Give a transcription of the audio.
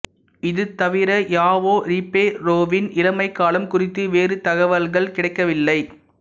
இது தவிர யாவோ ரிபெய்ரோவின் இளமைக் காலம் குறித்து வேறு தகவல்கள் கிடைக்கவில்லை